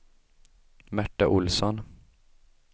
Märta Olsson